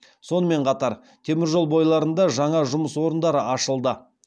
сонымен қатар темір жол бойларында жаңа жұмыс орындары ашылды